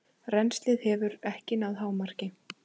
Rennslið hefur ekki náð hámarki.